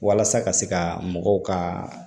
Walasa ka se ka mɔgɔw ka